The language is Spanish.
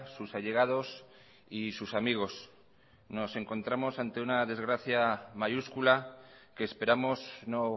sus allegados y sus amigos nos encontramos ante una desgracia mayúscula que esperamos no